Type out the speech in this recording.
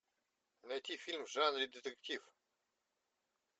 найти фильм в жанре детектив